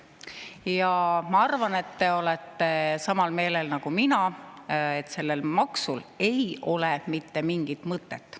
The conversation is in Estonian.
Ja ma arvan, et te olete samal meelel nagu mina, et sellel maksul ei ole mitte mingit mõtet.